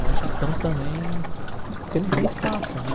Mas já estão também... porque não tem espaço, né?